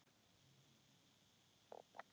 Þeir skildu okkur eftir einar.